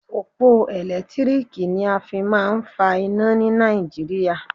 Òpó ẹ̀lẹ́tírìkì ni a fí má a ń fa iná ni Nàìjíríà.